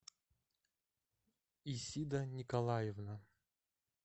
исида николаевна